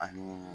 Ani